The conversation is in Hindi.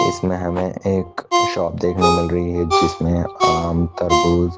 इसमें हमें एक शॉप देखने मिल रही है जिसमें आम तरबूज--